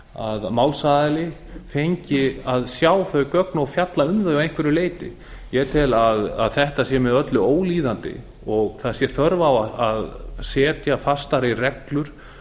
að málsaðili fengi að sjá þau gögn og fjalla um þau að einhverju hluti ég tel að þetta sé með öllu ólíðandi og það störf á að setja fastari reglur